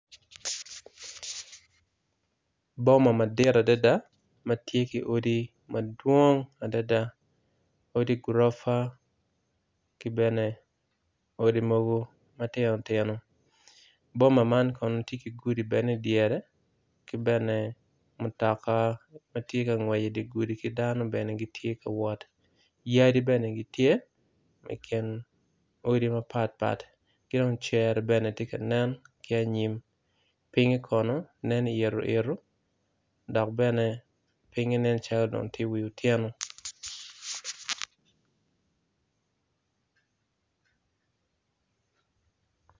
Boma madit adada matye ki yadi madwong odi gurofa kibene odi mogo matino tino boma man kono tye ki gudi i dyere kibene mutoka matye ka ngwec idigudi ki dano bene gitye ka wot yadi bene gitye ikin odi mapapat kidong cere bene tye ka nen ki anyim pinge kono nen iiro iro dok bene dong tye wiyo otyeno.